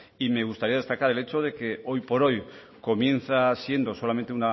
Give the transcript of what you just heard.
y me gustaría destacar el hecho de que hoy por hoy comienza siendo solamente